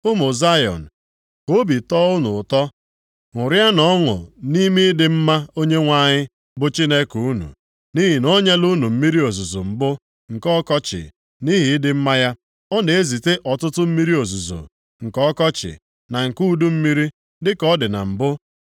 Ụmụ Zayọn, ka obi tọọ unu ụtọ, ṅụrịanụ ọṅụ nʼime ịdị mma Onyenwe anyị, bụ Chineke unu. Nʼihi na o nyela unu mmiri ozuzo mbụ nke ọkọchị, nʼihi ịdị mma ya. Ọ na-ezite ọtụtụ mmiri ozuzo, nke ọkọchị, na nke udu mmiri, dịka ọ dị na mbụ.